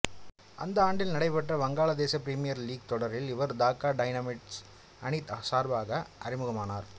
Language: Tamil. அந்த ஆண்டில் நடைபெற்ற வங்காளதேச பிரீமியர் லீக் தொடரில் இவர் தாக்கா டைனமிட்ஸ் அணி சார்பாக அறிமுகமானார்